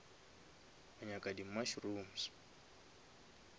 wa nyaka di mushrooms